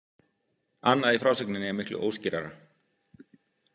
Annað í frásögninni er miklu óskýrara.